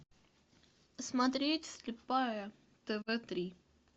смотреть слепая тв три